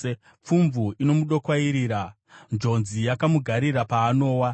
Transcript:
Pfumvu inomudokwairira; njodzi yakamugaririra paanowa.